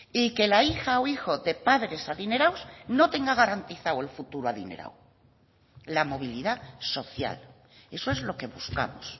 y que la hija o hijo de padres adinerados no tenga garantizado el futuro adinerado la movilidad social eso es lo que buscamos